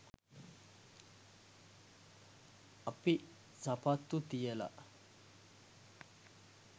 අපි සපත්තු තියල